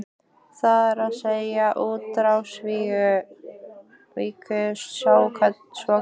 Það er að segja, útrásarvíkingarnir svokölluðu?